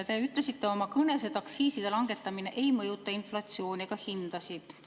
Te ütlesite oma kõnes, et aktsiiside langetamine ei mõjuta inflatsiooni ega hindasid.